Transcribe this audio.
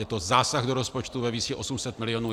Je to zásah do rozpočtu ve výši 800 milionů.